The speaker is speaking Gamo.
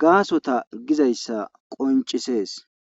gaasota gizayssa qoncisees.